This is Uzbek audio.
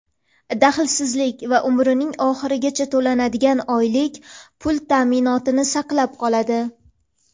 daxlsizlik va umrining oxirigacha to‘lanadigan oylik pul ta’minotini saqlab qoladi.